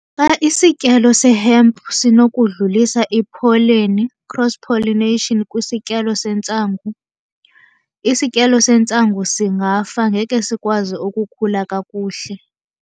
Xa isityalo se-hemp sinokudlulisa ipholeni, cross pollination, kwisityalo sentsangu, isityalo sentsangu singafa ngeke sikwazi ukukhula kakuhle.